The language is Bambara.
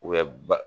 U bɛ ba